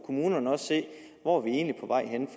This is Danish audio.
kommunerne også se hvor vi egentlig